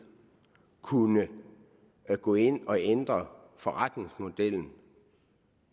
kunne gå ind og ændre forretningsmodellen